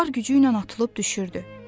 var gücü ilə atılıb düşürdü.